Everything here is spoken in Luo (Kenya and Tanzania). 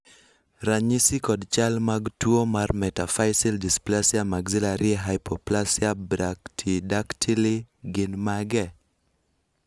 ranyisi kod chal mag tuo mar Metaphyseal dysplasia maxillary hypoplasia brachydactyly gin mage?